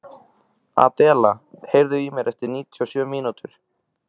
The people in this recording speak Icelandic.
Adela, heyrðu í mér eftir níutíu og sjö mínútur.